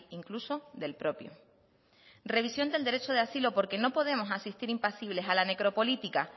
incluso del propio revisión del derecho de asilo porque no podemos asistir impasibles a la necropolítica